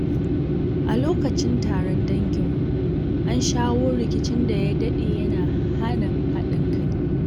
A lokacin taron danginmu, an shawo kan rikicin da ya dade yana hana haɗin kai.